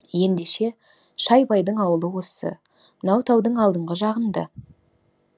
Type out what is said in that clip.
ендеше шайбайдың ауылы осы мынау таудың алдыңғы жағында